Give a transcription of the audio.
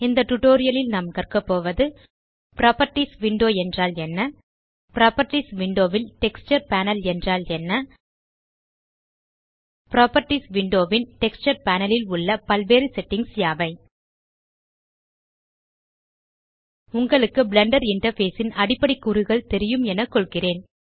இந்த டியூட்டோரியல் ல் நாம் கற்க போவது புராப்பர்ட்டீஸ் விண்டோ என்றால் என்ன புராப்பர்ட்டீஸ் விண்டோ ல் டெக்ஸ்சர் பேனல் என்றால் என்ன புராப்பர்ட்டீஸ் விண்டோ ன் டெக்ஸ்சர் பேனல் ல் உள்ள பல்வேறு settingகள் யாவை உங்களுக்கு பிளெண்டர் இன்டர்ஃபேஸ் ன் அடிப்படை கூறுகள் தெரியும் என கொள்கிறேன்